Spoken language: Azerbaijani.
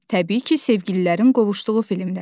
Təbii ki, sevgililərin qovuşduğu filmlər.